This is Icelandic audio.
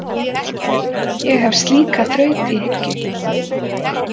Ég hef slíka þraut í hyggju.